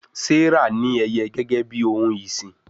Serah ní Ẹyẹ gégé bí òún ìsìn.